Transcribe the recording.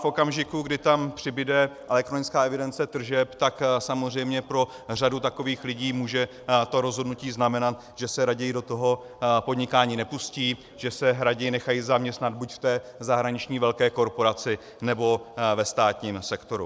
V okamžiku, kdy tam přibude elektronická evidence tržeb, tak samozřejmě pro řadu takových lidí může to rozhodnutí znamenat, že se raději do toho podnikání nepustí, že se raději nechají zaměstnat buď v té zahraniční velké korporaci, nebo ve státním sektoru.